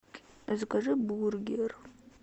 закажи бургер